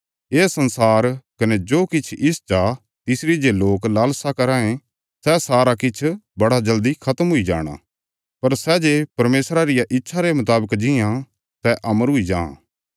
ये संसार कने जो किछ इस चा तिसरी जे लोक लालसां कराँ ये सै सारा किछ बड़ा जल्दी खत्म हुई जाणा पर सै जे परमेशरा रिया इच्छा रे मुतावक जीआं सै अमर हुई जां